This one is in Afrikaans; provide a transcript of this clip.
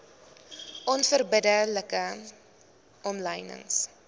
onverbidde like omlynings